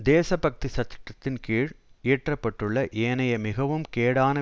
தேசபக்தி சட்டத்தின் கீழ் இயற்ற பட்டுள்ள ஏனைய மிகவும் கேடான